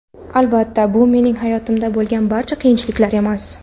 Albatta, bu mening hayotimda bo‘lgan barcha qiyinchiliklar emas.